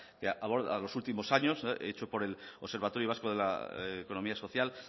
que aborda los últimos años hecho por el observatorio vasco de la economía social